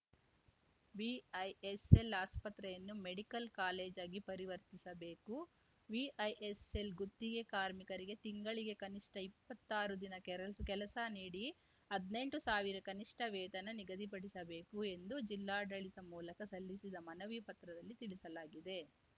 VISL ಆಸ್ಪತ್ರೆಯನ್ನು medical ಕಾಲೇಜಾಗಿ ಪರಿವರ್ತಿಸಬೇಕು ವಿಐಎಸ್‌ಎಲ್‌ ಗುತ್ತಿಗೆ ಕಾರ್ಮಿಕರಿಗೆ ತಿಂಗಳಿಗೆ ಕನಿಷ್ಠ ಇಪ್ಪತ್ತಾರು ದಿನ ಕೆರಸ್ ಕೆಲಸ ನೀಡಿ ಹದ್ನೆಂಟು ಸಾವಿರ ಕನಿಷ್ಠ ವೇತನ ನಿಗದಿಪಡಿಸಬೇಕು ಎಂದು ಜಿಲ್ಲಾಡಳಿತ ಮೂಲಕ ಸಲ್ಲಿಸಿದ ಮನವಿ ಪತ್ರದಲ್ಲಿ ತಿಳಿಸಲಾಗಿದೆ